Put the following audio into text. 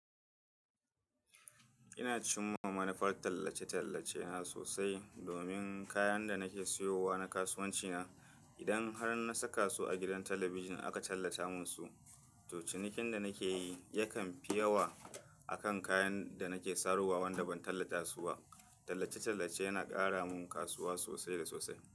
Ina cimma manufar tallace-tallace na sosai domin kayan da nake siyowa na kasuwanci na. Idan har na saka su a gidan talabijin aka tallata musu, to cinikin da nake yi yakan fi yawa a kan kayan da nake sarowa wanda ban tallata su ba. Tallace-tallace yana ƙara min kasuwa sosai da sosai.